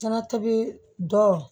Ɲanatini dɔ